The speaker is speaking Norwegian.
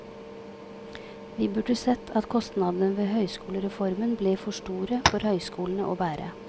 Vi burde sett at kostnadene ved høyskolereformen ble for store for høyskolene å bære.